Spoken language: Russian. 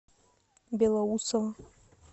белоусово